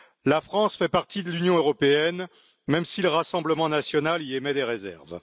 La France fait partie de l'Union européenne, même si le Rassemblement national y émet des réserves.